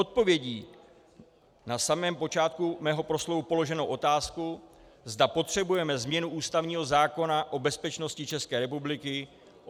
Odpovědí na samém počátku mého proslovu položenou otázku, zda potřebujeme změnu ústavního zákona o bezpečnosti České republiky.